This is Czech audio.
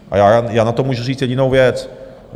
A já na to můžu říct jedinou věc.